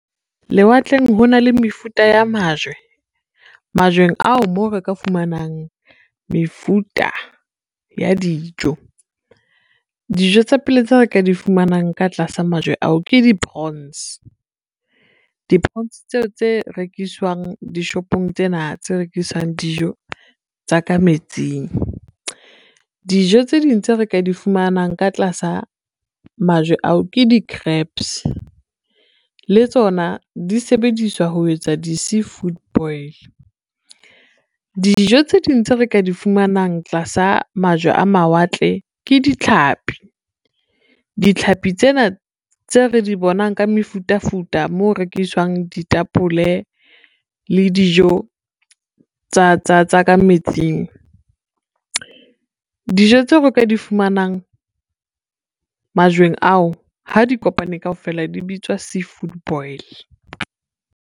Lewatleng ho na le mefuta ya majwe, majweng ao moo re ka fumanang mefuta ya dijo. Dijo tsa pele tseo re ka di fumanang ka tlasa majwe ao ke di-prawns, di-prawns tseo tse rekiswang dishopong tsena tse rekisang dijo tsa ka metsing. Dijo tse ding tse re ka di fumanang ka tlasa majwe ao, ke di-crabs, le tsona di sebediswa ho etsa di-sea food boil. Dijo tse ding tseo re ka di fumanang tlasa majwe a mawatle ke ditlhapi, ditlhapi tsena tse re di bonang ka mefutafuta moo rekiswang ditapole le dijo tsa metsing. Dijo tseo re ka di fumanang majweng ao ha di kopane kaofela di bitswa sea food boil.